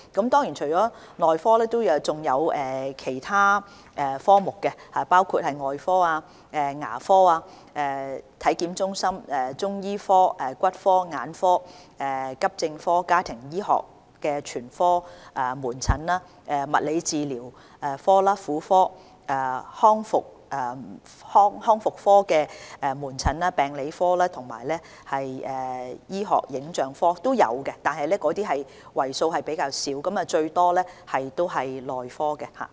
當然，除了內科，還有其他科目，包括外科、牙科、體檢中心、中醫科、骨科、眼科、急症科、家庭醫學全科、物理治療科、婦科、康復科、病理科和醫學影像科等，但這些為數較少，主要是內科。